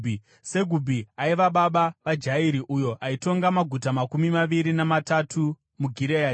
Segubhi aiva baba vaJairi, uyo aitonga maguta makumi maviri namatatu muGireadhi.